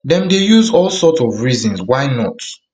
dem dey use all sorts of reasons why not